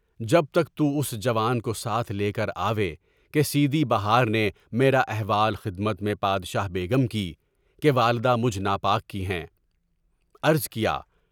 جب تک تُم اس جوان کو ساتھ لے کر آوے کہ سیدی بہار نے میرا احوال خدمت میں بادشاہ بیگم کی (کہ والدہ مجھ ناپاک کی ہیں) عرض کیا۔